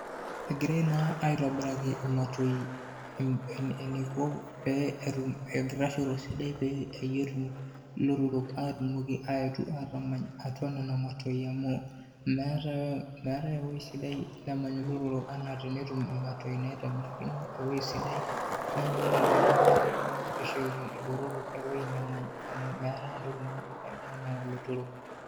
Egirai naa aitobiraki imatoi eniko peetum enkitashoto sidai peyie etum ilotorok atumoki aetu atamany atua nena matoi amu meetai ewoi sidai nemany lelo otorok enaa tenetum imatoi naitobirakino ewoi sidai. Neeku ore tenewoi negirai arreshoki ilotorok ewoi nemany amu meetai naisaidia enaa lotorok.